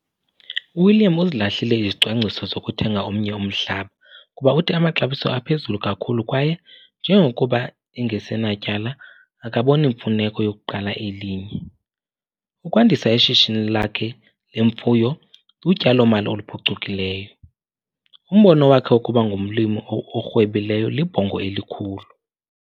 UWilliam uzilahlile izicwangciso zokuthenga omnye umhlaba kuba uthi amaxabiso aphezulu kakhulu kwaye njengokuba ngoku engasenatyala akaboni mfuneko yokuqala elinye. Ukwandisa ishishini lakhe lemfuyo lutyalo-mali oluphucukileyo. Umbono wakhe wokuba ngumlimi orhwebileyo libhongo elikhulu.